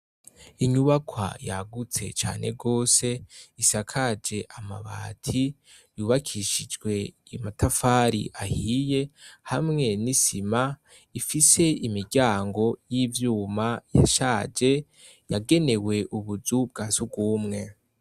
Inyubakwa yagutse cane rwose isakaje amabati yubakishijwe amatafari ahiye hamwe nisima Ifise imiryango ishaje yagenewe ubuzu bwasugumwe.